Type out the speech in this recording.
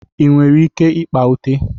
Ị nwere ike ịkpa ute?